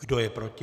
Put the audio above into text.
Kdo je proti?